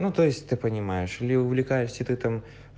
ну то есть ты понимаешь или увлекаешься ты там